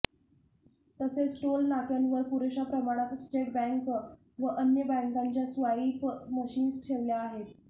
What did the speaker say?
तसेच टोल नाक्यांवर पुरेशाप्रमाणात स्टेट बँक व अन्य बँकांच्या स्वाईप मशीन्स ठेवल्या आहेत